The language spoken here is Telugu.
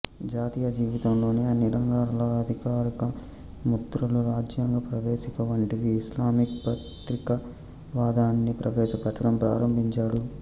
జాతీయ జీవితంలోని అన్ని రంగాలలో అధికారిక ముద్రలు రాజ్యాంగ ప్రవేశిక వంటివి ఇస్లామిక్ ప్రతీకవాదాన్ని ప్రవేశపెట్టడం ప్రారంభించాడు